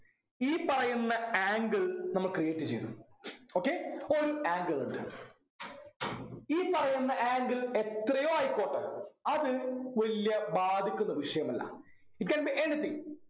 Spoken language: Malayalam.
ഈ പറയുന്ന angle നമ്മ create ചെയ്യുന്നു. okay ഒരു angle ഉണ്ട് ഈ പറയുന്ന angle എത്രയോ ആയിക്കോട്ടെ അത് വല്യ ബാധിക്കുന്ന വിഷയമല്ല it can be anything